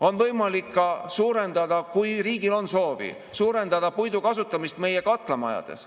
On võimalik ka suurendada, kui riigil on soovi, puidu kasutamist meie katlamajades.